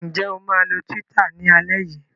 Ǹjẹ́ o máa lo Twitter ní alẹ́ yìí?